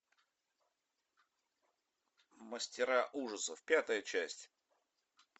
мастера ужасов пятая часть